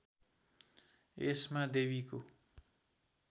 यसमा देवीको